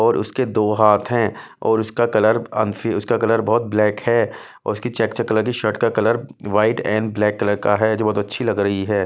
और उसके दो हाथ हैं और उसका कलर अनफि उसका कलर बहुत ब्लैक है और उसकी चेक कलर की शर्ट का colour white and black colour का है जो बहुत अच्छी लग रही है।